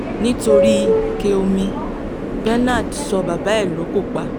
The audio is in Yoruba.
nítorí ike omi bernard so bàbá ẹ̀ lóko pa